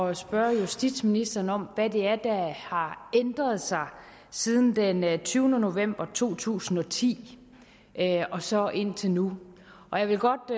at spørge justitsministeren om hvad det er der har ændret sig siden den enogtyvende november to tusind og ti og så indtil nu og jeg vil godt